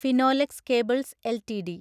Finolex cables LTD